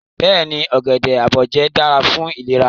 Beeni, ogede aboje dara fun ilera